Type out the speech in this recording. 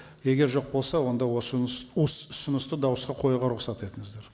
егер жоқ болса онда осы ұсынысты дауысқа қоюға рұқсат етіңіздер